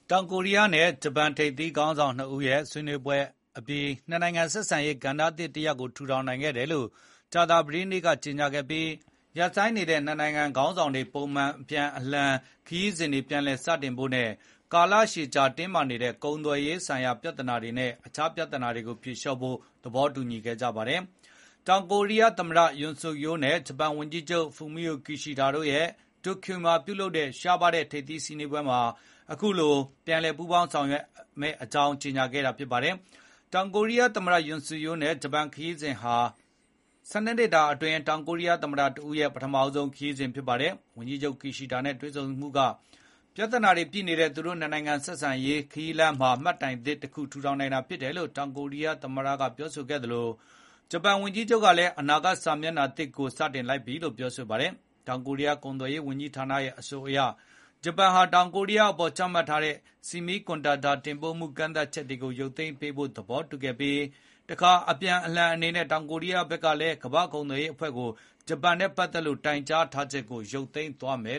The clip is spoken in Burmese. တောင်ကိုရီးယားနဲ့ ဂျပန် ထိပ်သီးခေါင်းဆောင် နှစ်ဦးရဲ့ ဆွေးနွေးပွဲအပြီး နှစ်နိုင်ငံ ဆက်ဆံရေး ကဏ္ဍသစ်တစ်ရပ် ထူထောင်နိုင်ခဲ့တယ်လို့ ကြာသပတေးနေ့က ကြေညာခဲ့ပြီး နှစ်နိုင်ငံခေါင်းဆောင်တွေ ပုံမှန် အပြန်အလှန် အလည်အပတ်ခရီးစဉ် အပါအဝင် ကာလရှည်ကြာ တင်းမာနေတဲ့ ကုန်သွယ်ရေးနဲ့ တခြား မပြေမလည် ဖြစ်နေတာတွေကို ဖြေလျှော့ဖို့ သဘောတူညီခဲ့ကြတယ်လို့ ဆိုပါတယ်။ တောင်ကိုရီးယားသမ္မတ ယွန်ဆွတ်ယိုး Yoon Seok Yeol နဲ့ ဂျပန်ဝန်ကြီးချုပ် ဖုမိအို ခီရှီးဒါး Fumio Kishida တို့ရဲ့ တိုကျိုမှာကျင်းပတဲ့ ရှားရှားပါးပါး ထိပ်သီးဆွေးနွေးပွဲမှာ အခုလို ပြန်လည် ပူးပေါင်းဆောင်ရွက်မယ့်အကြောင်း ကြေညာခဲ့တာပါ။ တောင်ကိုရီးယားသမ္မတ ယွန်ဆွတ်ယိုးရဲ့ ဂျပန်ခရီးစဉ်ဟာ ၁၂ နှစ်အတွင်း တောင်ကိုရီးယား သမ္မတ တဦးရဲ့ ပထမဆုံးသော ခရီးစဉ်ဖြစ်ပါတယ်။ ဝန်ကြီးချုပ် ခီရှီးဒါး Kishida နဲ့တွေ့ဆုံမှုက “ပြဿနာတွေ ပြည့်နေတဲ့ သူတို့နှစ်နိုင်ငံ ဆက်ဆံရေး ခရီးလမ်းမှာ မှတ်တိုင်အသစ်” လို့ တောင်ကိုရီးယားသမ္မတက ပြောပြီး ဂျပန်ဝန်ကြီးချုပ် ကလည်း “အနာဂတ် စာမျက်နှာသစ်ကို စတင်လိုက်ပြီ” လို့ ဆိုပါတယ်။ တောင်ကိုရီးယား ကုန်သွယ်ရေးဝန်ကြီးဌာနရဲ့ အဆိုအရ ဂျပန်ဟာ တောင်ကိုရီးယားအပေါ် ချမှတ်ထားတဲ့ ဆီမီးကွန်ဒတန်တာ တင်ပို့မှု ကန့်သတ်ချက်တွေကို ရုတ်သိမ်းပေးဖို့ သဘောတူခဲ့ပြီး တခါ အပြန်အလှန် အနေနဲ့ တောင်ကိုရီးယား ဘက်ကလည်း ကမ္ဘာ့ကုန်သွယ်ရေးအဖွဲ့ကို ဂျပန်နဲ့ ပတ်သက်လို့ တိုင်ကြားထားချက်ကို ရုပ်သိမ်းသွားပါမယ်